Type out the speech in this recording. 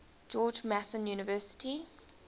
george mason university